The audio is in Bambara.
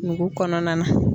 Nugu kɔnɔna na.